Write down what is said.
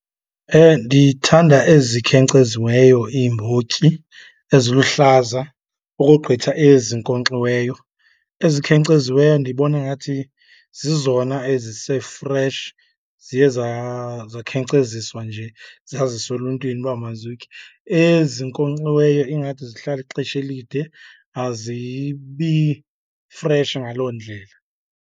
Ndithanda ezikhenkceziweyo iimbotyi eziluhlaza ukogqitha ezinkonkxiweyo. Ezikhenkceziweyo ndibona ngathi zizona ezise-fresh, ziye zakhenkceziswa nje zaziswa eluntwini uba mazitye. Ezinkonkxiweyo ingathi zihlala ixesha elide, azibi fresh ngaloo ndlela.